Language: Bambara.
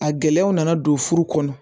A gɛlɛyaw nana don furu kɔnɔ